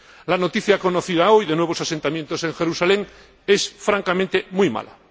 La noticia conocida hoy de nuevos asentamientos en Jerusalén es, francamente, muy mala.